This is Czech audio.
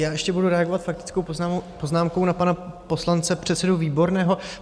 Já ještě budu reagovat faktickou poznámkou na pana poslance, předsedu Výborného.